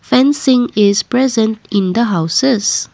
fencing is present in the houses.